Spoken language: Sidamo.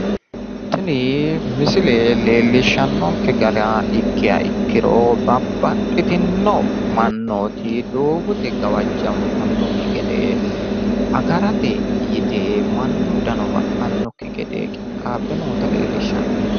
tini misile leellishannokke gara ikkiha ikkiro babbaxxitino mannooti doogote gawajjantannokki gede agarate yite mannu dano ba'anokki gede qixxaabbe noota leellishshanno.